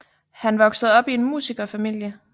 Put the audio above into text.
Han voksede op i en musikerfamilie